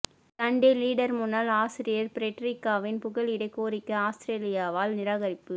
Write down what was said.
Sunday Leader முன்னாள் ஆசிரியர் பிரட்ரிக்காவின் புகலிட கோரிக்கை அவுஸ்திரேலியாவால் நிராகரிப்பு